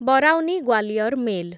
Barauni Gwalior mail